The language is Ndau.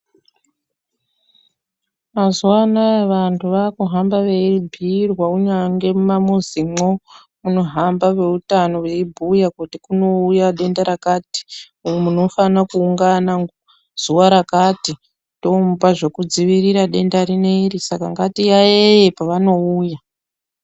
Mazuvaanaa vantu vakuhamba veibhuyirwa kunyangwe mumamizimwo munohamba veutano veibhuya kuti kunouya denda rakati monufanokuungana zuva rakati tomupa zvekudzivirira denda rineiri saka ngatiyayeye pavanouya.